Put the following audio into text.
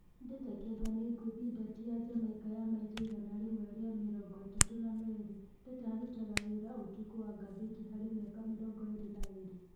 Ndeta Kĩongo nĩ ngũthi Ndati ya Jamaika ya maita igana rĩmwe rĩa mĩrongo-ĩtatũ na merĩ. Ndeta arutaga wĩra ũtukũ wa ngathĩti harĩ mĩaka mĩrongo ĩrĩ na ĩrĩ.